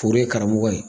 Foro ye karamɔgɔ ye